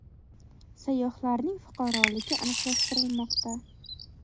Sayyohlarning fuqaroligi aniqlashtirilmoqda.